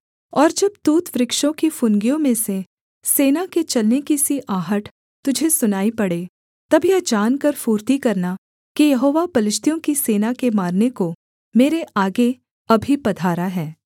और जब तूत वृक्षों की फुनगियों में से सेना के चलने की सी आहट तुझे सुनाई पड़े तब यह जानकर फुर्ती करना कि यहोवा पलिश्तियों की सेना के मारने को मेरे आगे अभी पधारा है